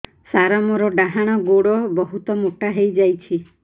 ସାର ମୋର ଡାହାଣ ଗୋଡୋ ବହୁତ ମୋଟା ହେଇଯାଇଛି